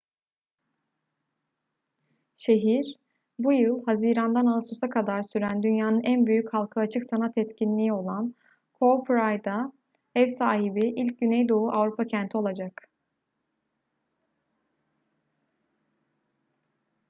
şehir bu yıl haziran'dan ağustos'a kadar süren dünyanın en büyük halka açık sanat etkinliği olan cowparade'e ev sahibi ilk güneydoğu avrupa kenti olacak